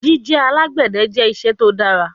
Jije alagbẹdẹ jẹ iṣẹ to dara